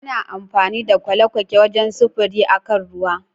Ana amfani da kwale-kwake wajen sufuri a kan ruwa